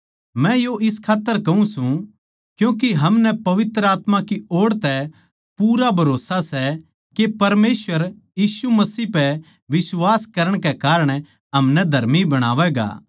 मै यो इस खात्तर कहूँ सूं क्यूँके हमनै पवित्र आत्मा की ओड़ तै बिश्वास मिल्या सै हम मसीह पै बिश्वास करां सां जिसकै कारण परमेसवर हमनै धर्मी बणावैगा